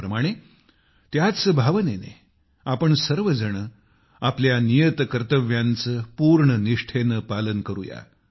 त्याप्रमाणे त्याच भावनेने आपण सर्वजण आपल्या नियत कर्तव्यांचे पूर्ण निष्ठेने पालन करू या